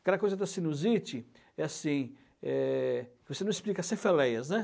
Aquela coisa da sinusite, é assim, é, você não explica cefaleias, né?